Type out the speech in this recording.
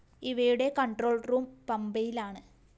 ഇവയുടെ control‍ room പമ്പയിലാണ്